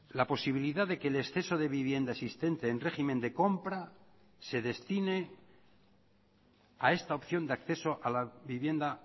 la posibilidad de que el exceso de vivienda existente en régimen de compra se destine a esta opción de acceso a la vivienda